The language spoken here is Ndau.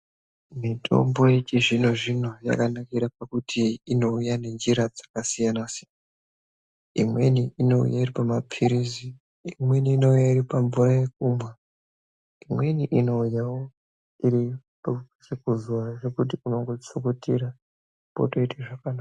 Mitombo yechizvino-zvino, yakanakire pakuti inouya ngenjira dzakasiyana-siyana. Imweni inouya iri pamaphirizi, imweni inouya iri mvura yekumwa, imweni inouyawo iri yekuzora yekuti unongochukutira potoite zvakanaka.